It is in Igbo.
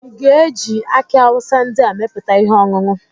Ị ga-eji aki awusa ndị a meputa ihe ọṅụṅụ?